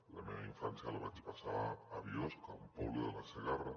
la meva infància la vaig passar a biosca un poble de la segarra